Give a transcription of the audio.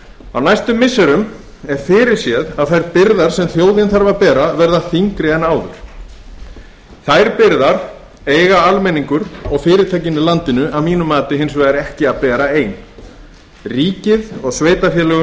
á næstu missirum er fyrir séð að þær byrðar sem þjóðin þarf að bera verða þyngri en áður þær byrðar eiga almenningur og fyrirtækin í landinu að mínu mati hins vegar ekki að bera ein ríkið og